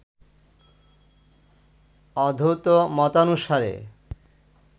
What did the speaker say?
অদ্বৈত মতানুসারে